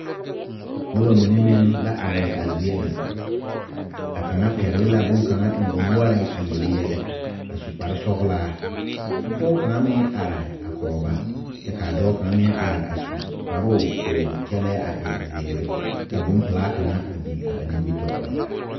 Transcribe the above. Noba mine meŋ la are a zie ŋa a kaŋa pɛgle la bonkaŋa eŋ o noɔreŋ a yele yɛlɛ a su kparesɔglaa ka pɔge kaŋa meŋ are a kɔge ba kyɛ k,a dɔɔ kaŋ meŋ are a su kparoo k,o kyɛlɛɛ a e zeere ka bonpelaa kaŋa a biŋ a ba nimitɔɔreŋ.